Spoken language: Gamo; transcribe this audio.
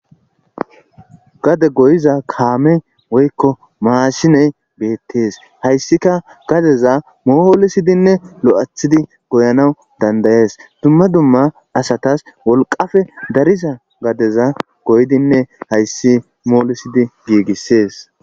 Gade goyiza kaamey woykko maashiney beettees hayssikka gadeza moolisidinne lo'athidi goyanaw dandda'es dumma dumma asatas wolqqape dariza gadeza goyidinne hayssi moolisidi giigisees.